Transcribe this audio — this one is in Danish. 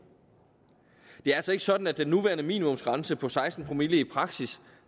det er altså ikke sådan at den nuværende minimumsgrænse på seksten promille i praksis